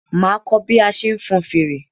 Máa kọ́ bí a ṣe ń fọn fèrè.